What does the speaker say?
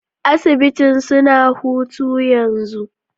Asibitin suna hutu yanzo.